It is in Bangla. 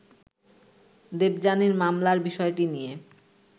দেবযানীর মামলার বিষয়টি নিয়ে